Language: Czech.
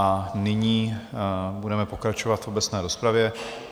A nyní budeme pokračovat v obecné rozpravě.